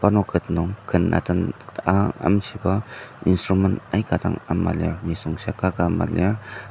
parnok ket nung ken atenba amshiba instrument aika dang ama lir nisung shia kaka ama lir.